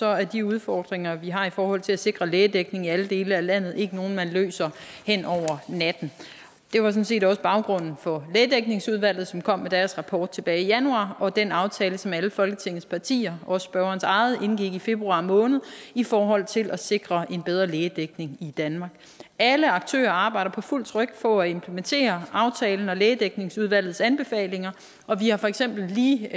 er de udfordringer vi har i forhold til at sikre lægedækning i alle dele af landet ikke nogen man løser over natten det var sådan set også baggrunden for lægedækningsudvalget som kom med deres rapport tilbage i januar og for den aftale som alle folketingets partier også spørgerens eget parti indgik i februar måned i forhold til at sikre en bedre lægedækning i danmark alle aktører arbejder på fuld tryk for at implementere aftalen og lægedækningsudvalgets anbefalinger og vi har for eksempel lige her